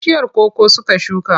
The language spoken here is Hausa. Bishiyar koko suka shuka.